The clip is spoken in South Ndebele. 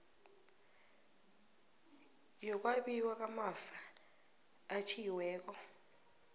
yokwabiwa kwamafa atjhiyiweko